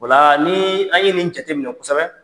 Ola ni, an ye nin jate minɛ kosɛbɛ